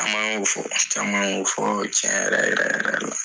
Caman y'ofɔ? Caman y'o fɔ tiɲɛ yɛrɛ yɛrɛ la.